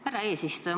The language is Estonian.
Härra eesistuja!